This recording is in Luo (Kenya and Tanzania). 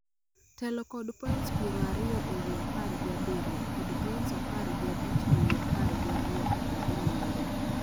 telo kod points piero ariyo ewi apar gi abiriyo kod points apar gi abich ewi apar gi ariyo kaka giluwore